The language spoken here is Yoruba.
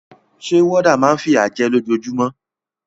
Sé warder náà ma n fìyà je lójojúmó